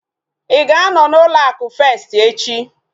Ịga anọ na ụlọ akụ festi echi?